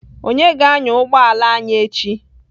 Onye ga-anya ụgbọ ala anyị echi?